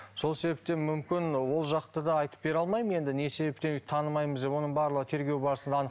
сол себептен мүмкін ол жақты да айтып бере алмаймын енді не себептен танымаймыз деп оның барлығы тергеу барысында